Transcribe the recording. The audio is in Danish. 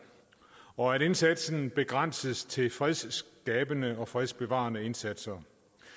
og at indsatsen begrænses til fredsskabende og fredsbevarende indsatser